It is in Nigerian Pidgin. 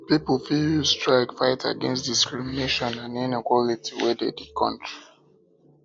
pipo fit use strike fight against discrimination and inequality wey de di country